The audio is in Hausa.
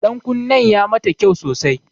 Ɗankunnen ya mata kyau sosai.